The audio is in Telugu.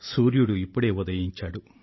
సూర్యుడు ఇప్పుడే ఉదయించాడు